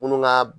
Munnu ka